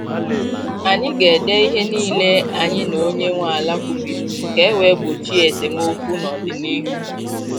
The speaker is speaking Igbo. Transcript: Anyị ga ede ihe niile anyị na onye nwe ala kwubiri ka e wee gbochie esemokwu n' ọdịnihu